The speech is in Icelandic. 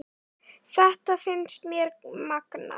Þetta finnst mér magnað.